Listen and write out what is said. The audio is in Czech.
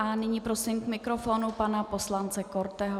A nyní prosím k mikrofonu pana poslance Korteho.